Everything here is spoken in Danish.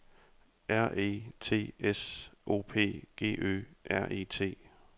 R E T S O P G Ø R E T